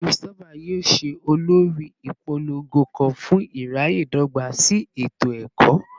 Christopher yoo ṣe olori ipolongo kan fun iraye dogba si eto-ẹkọ